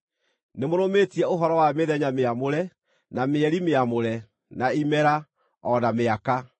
Nĩmũrũmĩtie ũhoro wa mĩthenya mĩamũre, na mĩeri mĩamũre, na imera, o na mĩaka!